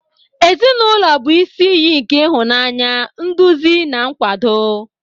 Ezinụlọ bụ isi iyi nke ịhụnanya, nduzi na nkwado.